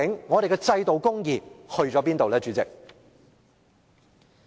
我們的制度公義去了哪裏，主席？